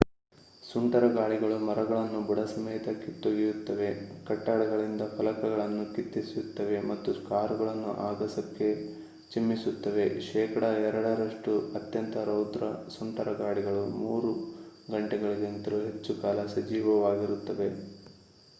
ಸುಂಟರಗಾಳಿಗಳು ಮರಗಳನ್ನು ಬುಡಸಮೇತ ಕಿತ್ತೊಗೆಯುತ್ತವೆ ಕಟ್ಟಡಗಳಿಂದ ಫಲಕಗಳನ್ನು ಕಿತ್ತೆಸೆಯುತ್ತವೆ ಮತ್ತು ಕಾರುಗಳನ್ನು ಅಗಸಕ್ಕೆ ಚಿಮ್ಮಿಸುತ್ತವೆ ಶೇಕಡಾ ಎರಡರಷ್ಟು ಅತ್ಯಂತ ರೌದ್ರ ಸುಂಟರಗಾಳಿಗಳು ಮೂರು ಗಂಟೆಗಳಿಗಿಂತಲೂ ಹೆಚ್ಚು ಕಾಲ ಸಜೀವವಾಗಿರುತ್ತವೆ